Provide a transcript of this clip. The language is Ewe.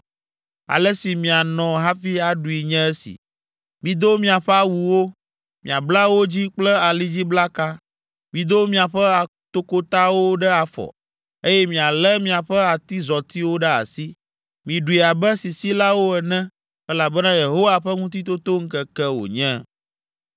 Ale si mianɔ hafi aɖui nye esi: mido miaƒe awuwo, miabla wo dzi kple alidziblaka. Mido miaƒe atokotawo ɖe afɔ, eye mialé miaƒe atizɔtiwo ɖe asi. Miɖui abe sisilawo ene, elabena Yehowa ƒe Ŋutitotoŋkeke wònye.